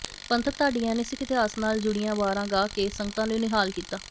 ਪੰਥਕ ਢਾਡੀਆਂ ਨੇ ਸਿੱਖ ਇਤਹਾਸ ਨਾਲ ਜੁੜੀਆਂ ਵਾਰਾਂ ਗਾ ਕੇ ਸੰਗਤਾਂ ਨੂੰ ਨਿਹਾਲ ਕੀਤਾ